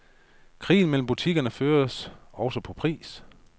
Krigen mellem butikkerne føres også på pris.